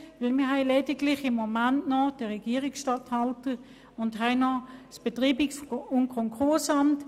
Wir haben im Moment lediglich noch den Regierungsstatthalter und das Betreibungs- und Konkursamt.